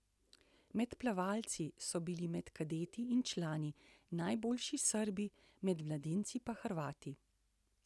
Med plavalci so bili med kadeti in člani najboljši Srbi, med mladinci pa Hrvati.